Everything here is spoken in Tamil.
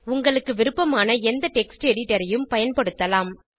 உங்களுக்கு விருப்பமான எந்த டெக்ஸ்ட் editorஐயும் பயன்படுத்தலாம்